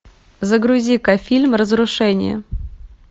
загрузи ка фильм разрушение